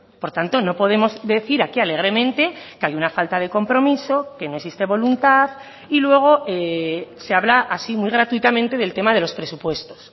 por tanto no podemos decir aquí alegremente que hay una falta de compromiso que no existe voluntad y luego se habla así muy gratuitamente del tema de los presupuestos